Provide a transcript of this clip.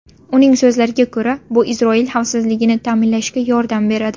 Uning so‘zlariga ko‘ra, bu Isroil xavfsizligini ta’minlashga yordam beradi.